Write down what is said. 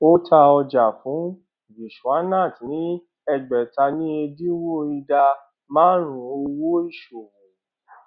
a ta ọjà fún vishwanath ní ẹgbèta ní ẹdínwó ìdá márùnún owó ìṣòwò